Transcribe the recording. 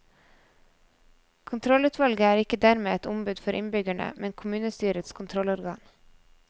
Kontrollutvalget er ikke dermed et ombud for innbyggerne, men kommunestyrets kontrollorgan.